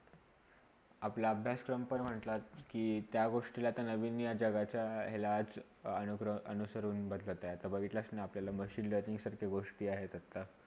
अपला अभ्यासचा पण म्हणतात कि त्या गोष्टीला त्याचा हे नवीन हा या जगाचा लाज अनुग्रह अनुसर होन बघितला आता बघितलासना आपल्याला machine learning सारख्या गोष्टी आहीतात का?